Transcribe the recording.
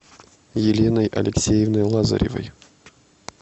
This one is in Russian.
еленой алексеевной лазаревой